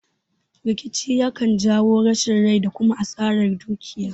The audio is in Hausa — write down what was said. Rikici yakan jawo rasa rai da kuma asaran dukiya